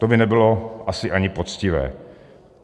To by nebylo asi ani poctivé.